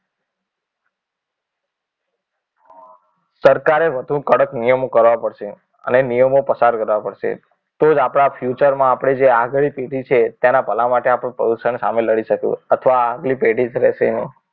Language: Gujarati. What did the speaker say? સરકારે વધુ કડક નિયમો કરવા પડશે અને એ નિયમો પસાર કરવા પડશે તો જ આપણા future માં આપણે જે આગળની પેઢી છે તેના ભલા માટે આપણે પ્રદૂષણ સામે લડી શકીએ અથવા આગલી પેઢી તરે એમાં